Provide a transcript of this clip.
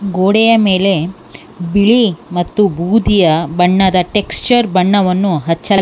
ಗೋಡೆಯ ಮೇಲೆ ಬಿಳಿ ಮತ್ತು ಬೂದಿಯ ಬಣ್ಣದ ಟೆಕ್ಸ್ಚರ್ ಬಣ್ಣವನ್ನು ಹಚ್ಚ--